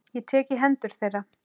Ég tek í hendur þeirra.